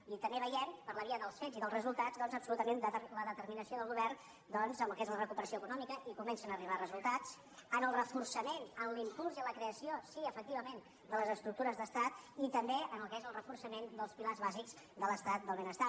i també veiem per la via dels fets i dels resultats absolutament la determinació del govern doncs en el que és la recuperació econòmica i comencen a arribar resultats en el reforçament en l’impuls i en la creació sí efectivament de les estructures d’estat i també en el que és el reforçament dels pilars bàsics de l’estat del benestar